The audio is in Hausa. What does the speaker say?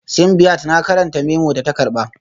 Simbiat na karanta memo da ta karba